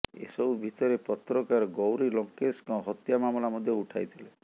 ଏସବୁ ଭିତରେ ପତ୍ରକାର ଗୌରୀ ଲଙ୍କେଶଙ୍କ ହତ୍ୟା ମାମଲା ମଧ୍ୟ ଉଠାଇଥିଲେ